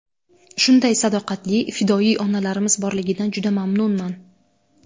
Shunday sadoqatli, fidoyi onalarimiz borligidan juda mamnunman.